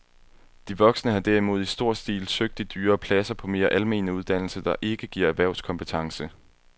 De voksne har derimod i stor stil søgt de dyrere pladser på mere almene uddannelser, der ikke giver erhvervskompetence.